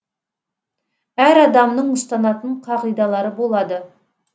әр адамның ұстанатын қағидалары болады